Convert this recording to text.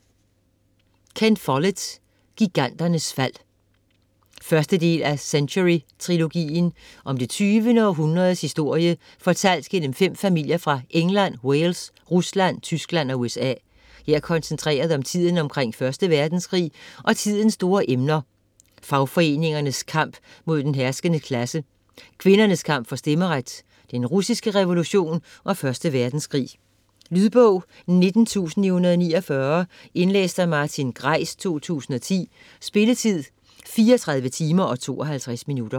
Follett, Ken: Giganternes fald 1. del af Century trilogien. Om det 20. århundredes historie fortalt gennem 5 familier fra England, Wales, Rusland, Tyskland og USA. Her koncentreret om tiden omkring 1. verdenskrig, og tidens store emner: fagforeningernes kamp mod den herskende klasse, kvinders kamp for stemmeret, den russiske revolution og første verdenskrig. Lydbog 19949 Indlæst af Martin Greis, 2010. Spilletid: 34 timer, 52 minutter.